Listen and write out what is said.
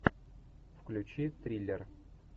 включи триллер